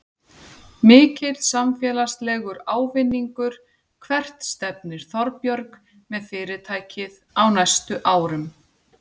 Mikill samfélagslegur ávinningur Hvert stefnir Þorbjörg með fyrirtækið á næstu árum?